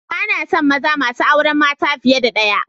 Bana son maza masu auren mata fiye da ɗaya